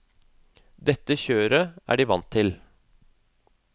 Dette kjøret er de vant til.